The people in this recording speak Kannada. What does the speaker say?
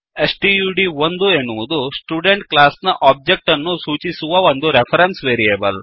ಸ್ಟಡ್1 ಎನ್ನುವುದು ಸ್ಟುಡೆಂಟ್ ಕ್ಲಾಸ್ ನ ಒಬ್ಜೆಕ್ಟ್ ಅನ್ನು ಸೂಚಿಸುವ ಒಂದು ರೆಫರೆನ್ಸ್ ವೇರಿಯೇಬಲ್